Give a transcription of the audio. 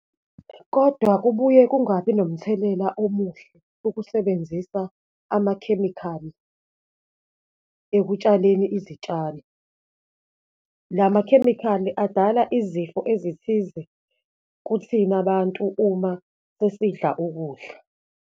Kodwa kubuye kungabi nomthelela omuhle ukusebenzisa amakhemikhali ekutshaleni izitshalo. La makhemikhali adala izifo ezithize kuthina bantu uma sesidla ukudla.